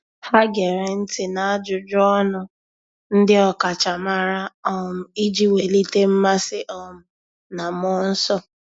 Há gèrè ntị́ n’ájụ́jụ́ ọnụ ndị ọ́kàchàmàrà um iji wèlíté mmasị um na mmụọ́ nsọ́.